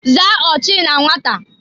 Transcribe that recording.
Zaa ochi na nwata!